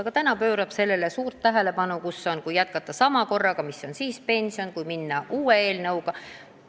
Aga täna me pöörame suurt tähelepanu sellele, kui suur on pension siis, kui jätkata senise korraga, ja kui suur siis, kui minna edasi uue eelnõu kohaselt.